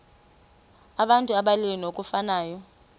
abantu abalili ngokufanayo